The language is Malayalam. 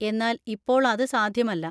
എന്നാൽ ഇപ്പോൾ അത് സാധ്യമല്ല.